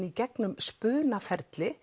í gegnum